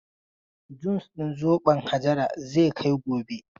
Jus din zobon Hajara zai kai gobe.